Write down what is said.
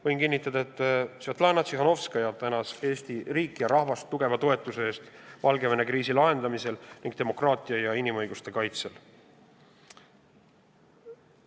Võin kinnitada, et Svetlana Tihhanovskaja tänas Eesti riiki ja rahvast tugeva toetuse eest Valgevene kriisi lahendamisel ning demokraatia ja inimõiguste kaitsmisel.